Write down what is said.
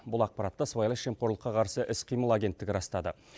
бұл ақпаратты сыбайлас жемқорлыққа қарсы іс қимыл агенттігі растады